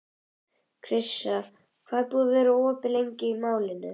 Krissa, hvað er opið lengi í Málinu?